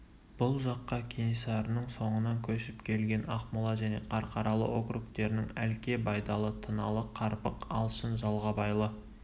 бұл жаққа кенесарының соңынан көшіп келген ақмола және қарқаралы округтерінің әлке байдалы тыналы қарпық алшын жағалбайлы